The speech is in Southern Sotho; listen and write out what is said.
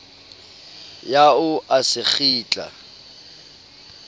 ya o a se kgitla